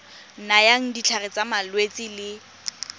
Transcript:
nayang ditlhare tsa malwetse le